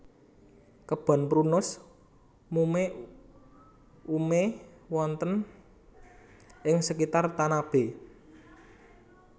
Kebon Prunus mume ume wonten ing sekitar Tanabe